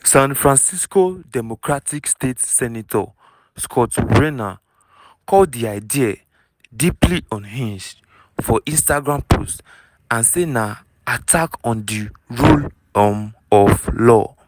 san francisco democratic state senator scott wiener call di idea "deeply unhinged" for instagram post and say na "attack on di rule um of law."